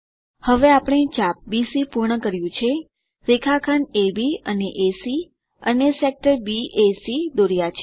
હવે આપણે ચાપ બીસી પૂર્ણ કર્યું છે રેખાખંડ અબ અને એસી અને સેક્ટર બેક દોરયા છે